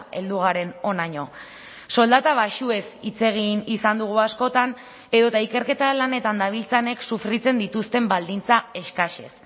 heldu garen honaino soldata baxuez hitz egin izan dugu askotan edota ikerketa lanetan dabiltzanek sufritzen dituzten baldintza eskasez